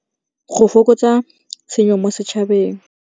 Go fokotsa tshenyo mo sechabeng.